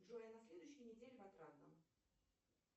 джой а на следующей неделе в отрадном